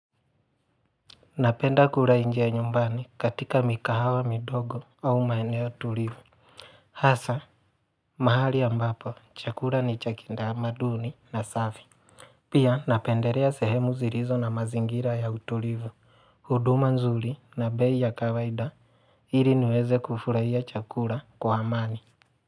Napenda kula nje ya nyumbani katika mikahawa midogo au maeneo tulivu Hasa mahali ambapo chakula ni cha kitamaduni na safi Pia napendelea sehemu zilizo na mazingira ya utulivu, huduma nzuri na bei ya kawaida ili niweze kufurahia chakula kwa amani.